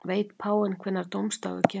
Veit páfinn hvenær dómsdagur kemur?